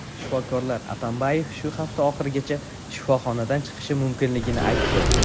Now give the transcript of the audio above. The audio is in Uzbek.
Shifokorlar Atambayev shu hafta oxirigacha shifoxonadan chiqishi mumkinligini aytdi.